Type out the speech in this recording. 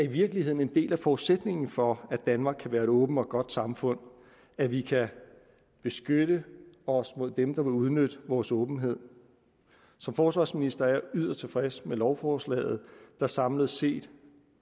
virkeligheden er en del af forudsætningen for at danmark kan være et åbent og godt samfund at vi kan beskytte os mod dem der vil udnytte vores åbenhed som forsvarsminister er jeg yderst tilfreds med lovforslaget der samlet set